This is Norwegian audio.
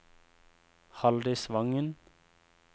Halldis Wangen